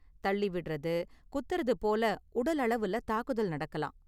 தள்ளி விடுறது, குத்துறது போல உடலளவுல தாக்குதல் நடக்கலாம்.